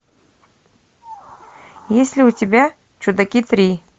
есть ли у тебя чудаки три